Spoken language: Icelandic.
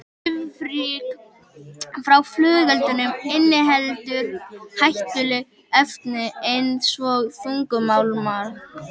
Svifryk frá flugeldum inniheldur hættuleg efni eins og þungmálma.